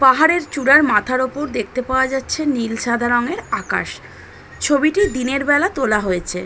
পাহাড়ের চূড়ার মাথার উপর দেখতে পাওয়া যাচ্ছে নীল সাদা রং এর আকাশ ছবিটি দিনের বেলা তোলা হয়েছে।